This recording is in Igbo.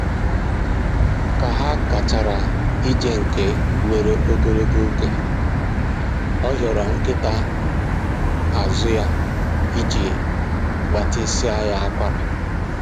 Ka ha gachara ije nke weere ogologo oge, ọ hịọrọ nkịta azụ ya iji gbatịsịa ya akwara